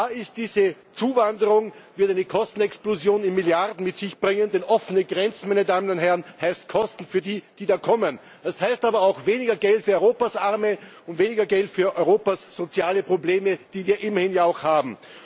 Klar ist Diese Zuwanderung wird eine Kostenexplosion im Milliardenbereich mit sich bringen, denn offene Grenzen heißt Kosten für die, die da kommen. Das heißt aber auch weniger Geld für Europas Arme und weniger Geld für Europas soziale Probleme, die wir immerhin ja auch haben.